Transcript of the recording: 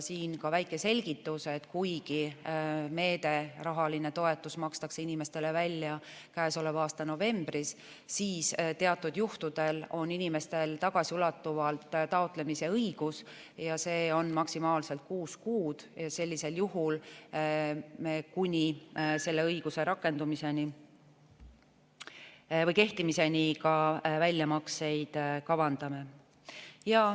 Siia ka väike selgitus: kuigi meede, rahaline toetus makstakse inimestele välja käesoleva aasta novembris, siis teatud juhtudel on inimestel tagasiulatuvalt taotlemise õigus, see on maksimaalselt kuus kuud, ja sellisel juhul me kuni selle õiguse kehtimiseni ka väljamakseid kavandame.